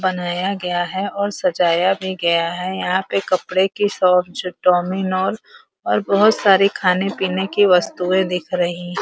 बनाया गया है और सजाया भी गया है। यहाँ पे कपड़े की शॉप ज डोमीनोस और बहोत सारे खाने पीने की वस्तुएं दिख रही --